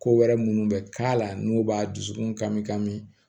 Ko wɛrɛ minnu bɛ k'a la n'u b'a dusukun kami kami